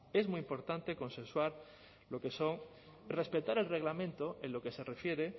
es muy importante respetar el reglamento en lo que se refiere